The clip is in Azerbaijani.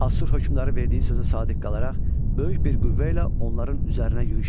Assur hökmdarı verdiyi sözə sadiq qalaraq böyük bir qüvvə ilə onların üzərinə yürüş etdi.